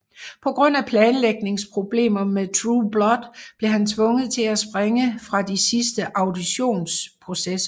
På grund af planlægningsproblemer med True Blood blev han tvunget til at springe fra de sidste auditionsprocesser